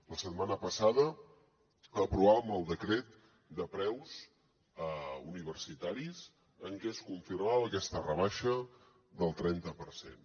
la setmana passada aprovàvem el decret de preus universitaris en què es confirmava aquesta rebaixa del trenta per cent